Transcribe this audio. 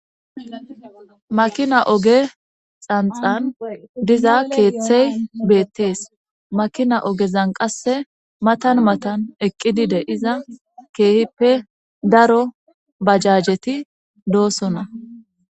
makina oge xanxan diza keeththey beettees makina ogezan qasse matan matan eqqi dide iza keehippe daro bajjajeti doosona